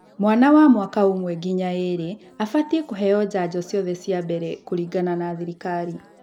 Mwana wa mwaka ùmwe nginya ììrì abatiĩ kũheo njanjo ciothe cia mbele kũringana na thirikari